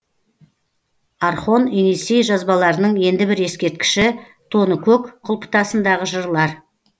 орхон енисей жазбаларының енді бір ескерткіші тоныкөк құлпытасындағы жырлар